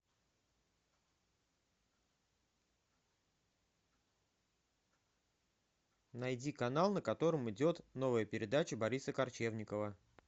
найди канал на котором идет новая передача бориса корчевникова